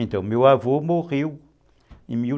Então, meu avô morreu em mil